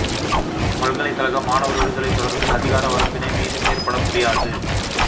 பல்கலைக்கழக மாணவர் விடுதலை தொடர்பில் அதிகார வரம்பினை மீறி செயற்பட முடியாது